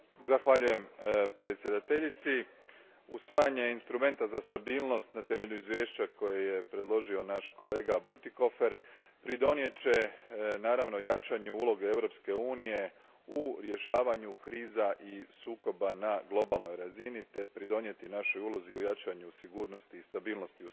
Gospođo predsjedavajuća, usvajanje instrumenta za stabilnost na temelju izvješća koje je predložio naš kolega Bütikofer pridonijet će, naravno, jačanju uloge Europske unije u rješavanju kriza i sukoba na globalnoj razini te doprinijeti našoj ulozi u jačanju sigurnosti i stabilnosti u svijetu.